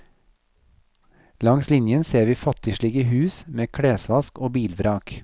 Langs linjen ser vi fattigslige hus med klesvask og bilvrak.